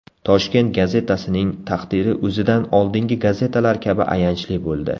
Toshkent gazetasining taqdiri o‘zidan oldingi gazetalar kabi ayanchli bo‘ldi.